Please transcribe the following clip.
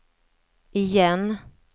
igen